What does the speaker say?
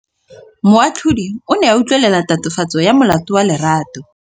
Moatlhodi o ne a utlwelela tatofatsô ya molato wa Lerato.